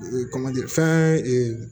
kɔmanji fɛn